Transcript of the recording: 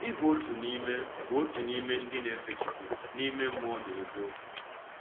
Ị bụ otu n’ime bụ otu n’ime ndị na-efe Chukwu “n’ime mmụọ na eziokwu”?